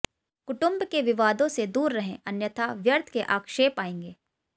कुटुुंब के विवादों से दूर रहें अन्यथा व्यर्थ के आक्षेप आएंगे